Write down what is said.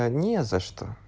а не за что